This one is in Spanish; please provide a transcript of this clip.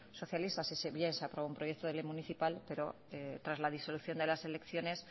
socialista si bien se aprobó un proyecto de ley municipal pero tras la disolución de las elecciones